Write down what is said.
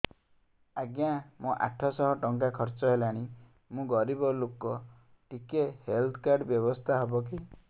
ଆଜ୍ଞା ମୋ ଆଠ ସହ ଟଙ୍କା ଖର୍ଚ୍ଚ ହେଲାଣି ମୁଁ ଗରିବ ଲୁକ ଟିକେ ହେଲ୍ଥ କାର୍ଡ ବ୍ୟବସ୍ଥା ହବ କି